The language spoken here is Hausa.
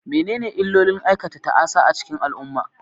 Menene illolin aikata ta'asa a cikin al'umma?